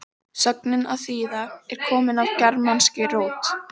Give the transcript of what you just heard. sögnin að þýða er komin af germanskri rót